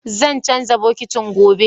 Zan canza bokitin, gobe